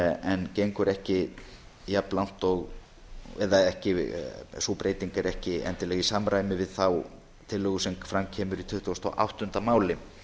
en sú breyting er ekki endilega í samræmi við þá tillögu sem fram kemur í tuttugasta og áttunda máli